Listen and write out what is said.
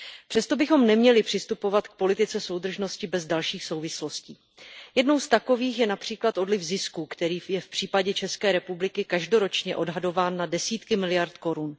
Přesto bychom neměli přistupovat k politice soudržnosti bez dalších souvislostí. Jednou z takových je například odliv zisků, který je v případě ČR každoročně odhadován na desítky miliard korun.